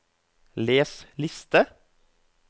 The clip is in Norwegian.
les liste